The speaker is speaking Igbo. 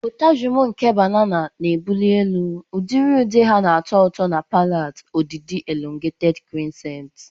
Potassium nke banana na-ebuli elu, udiri ude ha na-atọ ụtọ na palate, ọdịdị elongated crescents.